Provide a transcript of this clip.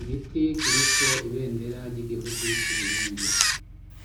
igiti kiriko ibendera ry'igihugu c'uburundi